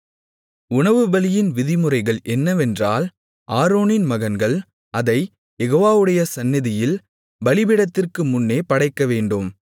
உணவுபலியின் விதிமுறைகள் என்னவென்றால் ஆரோனின் மகன்கள் அதைக் யெகோவாவுடைய சந்நிதியில் பலிபீடத்திற்கு முன்னே படைக்கவேண்டும்